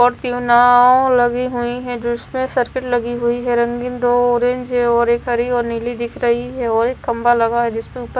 और तीन नाव लगी हुई हैं जिसपे सर्कल लगी हुई है रंगीन दो ऑरेंज है और एक हरी और नीली दिख रही है और एक खंभा लगा है जिसपे ऊपर--